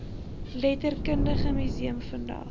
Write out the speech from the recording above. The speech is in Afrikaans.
letterkundige museum vandag